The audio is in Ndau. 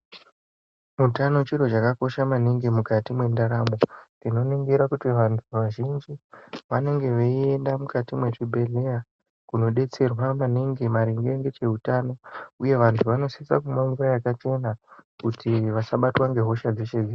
Utano chiro chakakosha maningi mukati mwendaramo. Tinoningira kuti vantu vazhinji vanenge veienda mukati mwezvinhedhleya ,kunodetserwa maningi maringe ngecheutano, uye vantu vazhinji vanosisa kumwa mvura yakachena, kuti vasabatwa ngehosha dzeshe-dzeshe.